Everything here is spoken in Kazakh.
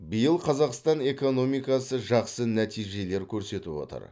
биыл қазақстан экономикасы жақсы нәтижелер көрсетіп отыр